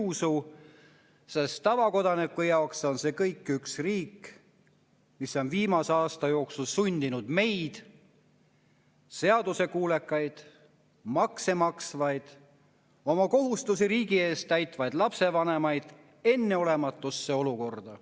tavakodaniku jaoks on see kõik üks riik, mis on viimase aasta jooksul sundinud meid – seadusekuulekaid, makse maksvaid, oma kohustusi riigi eest täitvaid lapsevanemaid – enneolematusse olukorda.